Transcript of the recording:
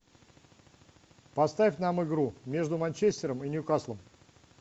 поставь нам игру между манчестером и ньюкаслом